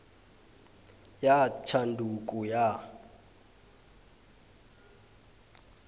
ya tshanduko ya